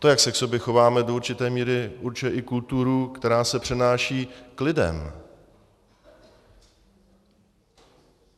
To, jak se k sobě chováme, do určité míry určuje i kulturu, která se přenáší k lidem.